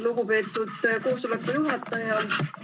Lugupeetud koosoleku juhataja!